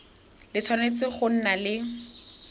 le tshwanetse go nna le